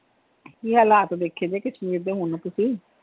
ਕੀ ਹਾਲਾਤ ਦੇਖੇ ਕਸ਼ਮੀਰ ਦੇ ਹੁਣ ਤੁਸੀਂ?